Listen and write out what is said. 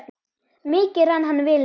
Mikið rann hann vel niður.